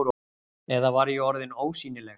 Eða var ég orðin ósýnileg?